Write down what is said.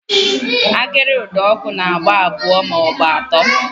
Agịrị ụdọọkụ na-agba abụọ maọbụ atọ